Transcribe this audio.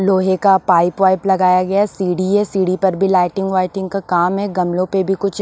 लोहे का पाइप वाइप लगाया गया है सीढ़ी है सीढ़ी पर भी लाइटिंग वाइटिंग का काम है गमलों पे भी कुछ--